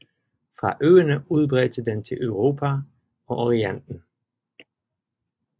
Fra øerne udbredte den til i Europa og i Orienten